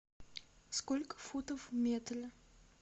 сколько футов в метре